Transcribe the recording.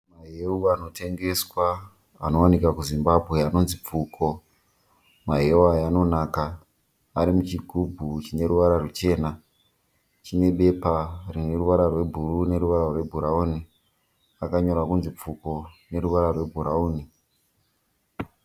Mahewu anotengeswa, anowanikwa kuZimbabwe anonzi Pfuko. Mahewu aya anonaka. Ari muchigubhu chine ruvara ruchena. Chine bepa rine ruvara rwebhuru neruvara rwebhurawuni. Akanyorwa kunzi Pfuko neruvara rwebhurawuni.